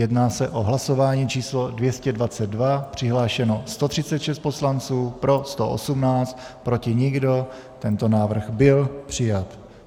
Jedná se o hlasování číslo 222, přihlášeno 136 poslanců, pro 118, proti nikdo, tento návrh byl přijat.